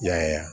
Yaya